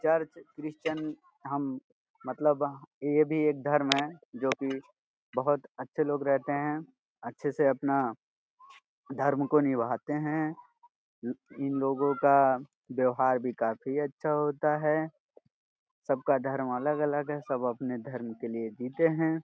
Church Christian हम मतलब ये भी एक धर्म है जो कि बहोत अच्छे लोग रहते है। अच्छे से अपना धर्म को निबाहते है। इन लोगो का व्यवहार भी काफी अच्छा होता है। सब का धर्म अलग-अलग है। सब अपने धर्म के लिए जीते हैं।